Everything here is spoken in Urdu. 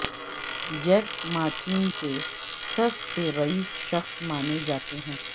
جیک ما چین کے سب سے رئیس شخص مانے جاتے ہیں